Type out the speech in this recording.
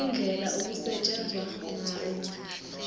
indlela okusetshenzwa ngayo